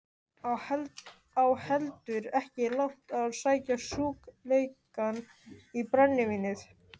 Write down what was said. Á heldur ekki langt að sækja sjúkleikann í brennivínið.